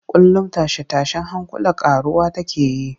Kullum tashe-tashen hankula ƙaruwa take yi